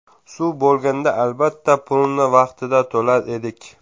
Suv bo‘lganda, albatta, pulini vaqtida to‘lar edik.